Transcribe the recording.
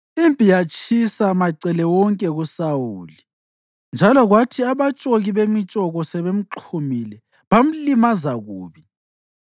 Impi yatshisa macele wonke kuSawuli, njalo kwathi abatshoki bemitshoko sebemxhumile, bamlimaza kubi.